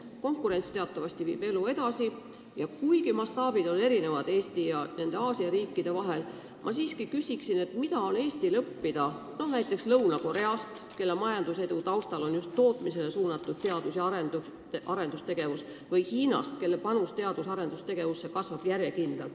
Konkurents teatavasti viib elu edasi ja kuigi mastaabid on Eestis hoopis teised kui Aasia riikides, ma siiski küsin, mida on Eestil õppida näiteks Lõuna-Korealt, kelle majandusedu taga on just tootmisele suunatud teadus- ja arendustegevus, või Hiinalt, kelle panus teadus- ja arendustegevusse kasvab järjekindlat.